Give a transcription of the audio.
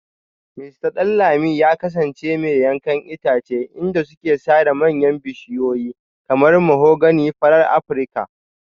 Mista Danladi ya kasance mai yankan itace inda suke sare manyan bishiyoyi kamar mahogany farar Afirka